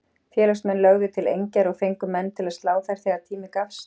Félagsmenn lögðu til engjar og fengu menn til að slá þær þegar tími gafst.